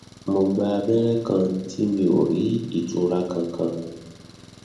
mo gba abẹrẹ kan tí mi ò rí ìtura kankan